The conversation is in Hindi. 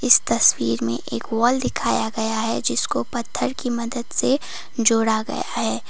इस तस्वीर में एक वॉल दिखाया गया है जिसको पत्थर की मदद से जोड़ा गया है।